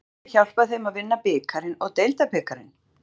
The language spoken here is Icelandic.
Maðurinn sem hjálpaði þeim að vinna bikarinn og deildabikarinn?